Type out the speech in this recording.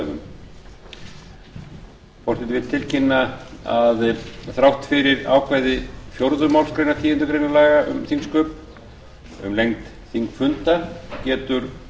forseti vill tilkynna að þrátt fyrir ákvæði fjórðu málsgreinar tíundu grein laga um þingsköp alþingis um lengd þingfunda getur